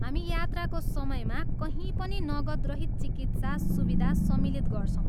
हामी यात्राको समयमा कहीँ पनि नगदरहित चिकित्सा सुविधा सम्मिलित गर्छौँ।